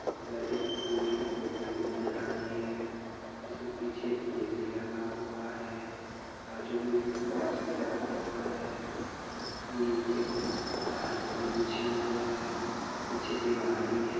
ऊपर एक फूल की टोकरी भी नजर आ रही है जिसमें पीछे ए_सी लगा हुआ है बाजु में एक बॉक्स भी रखा हुआ है नीचे कुछ कारपेट बिछे हुए है पीछे दीवार भी है।